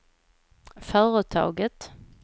företaget